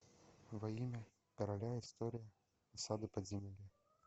во имя короля история осады подземелья